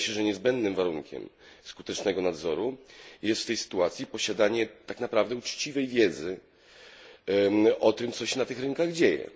Wydaje się, że niezbędnym warunkiem skutecznego nadzoru jest w tej sytuacji posiadanie naprawdę uczciwej wiedzy o tym, co się na tych rynkach dzieje.